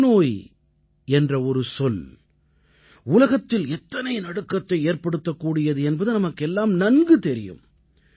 புற்றுநோய் என்ற ஒரு சொல் உலகத்தில் எத்தனை நடுக்கத்தை ஏற்படுத்தக்கூடியது என்பது நமக்கெல்லாம் நன்கு தெரியும்